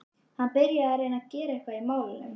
Hann byrjaði að reyna að gera eitthvað í málunum.